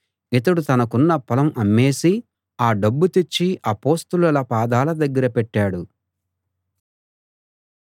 ఇతడు తనకున్న పొలం అమ్మేసి ఆ డబ్బు తెచ్చి అపొస్తలుల పాదాల దగ్గర పెట్టాడు